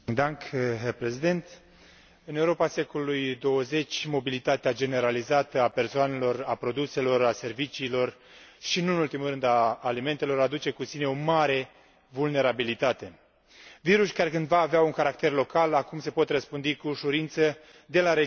În Europa secolului XXI, mobilitatea generalizată a persoanelor, a produselor, a serviciilor și, nu în ultimul rând, a alimentelor, aduce cu sine o mare vulnerabilitate viruși care cândva aveau un caracter local, acum se pot răspândi cu ușurință de la regiune la regiune sau de la țară la țară.